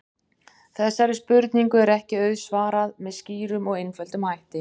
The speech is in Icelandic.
Þessari spurningu er ekki auðsvarað með skýrum og einföldum hætti.